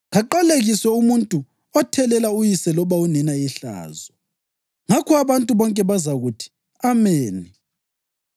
‘Kaqalekiswe umuntu othelela uyise loba unina ihlazo.’ Ngakho abantu bonke bazakuthi, ‘Ameni!’